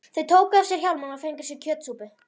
Þau tóku af sér hjálmana og fengu sér kjötsúpu.